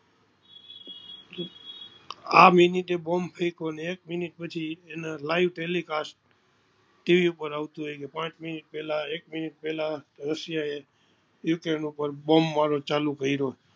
આ મિનિટે bomb ફેકઓ અને એક મિનિટ પછી live telicast ટીવી ઉપર આવતું હોય પાંચ મિનિટ પેલા એક મિનિટ રસિયા એ ઉકરૈન ઉપર bomb મારો ચાલુ કરિયો